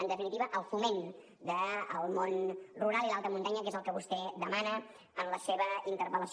en definitiva el foment del món rural i l’alta muntanya que és el que vostè demana en la seva interpel·lació